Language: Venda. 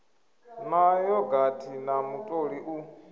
na yogathi na mutoli u